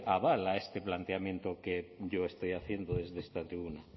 aval a este planteamiento que yo estoy haciendo desde esta tribuna